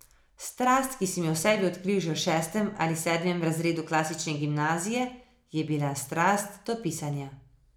Strast, ki sem jo v sebi odkril že v šestem ali sedmem razredu klasične gimnazije, je bila strast do pisanja.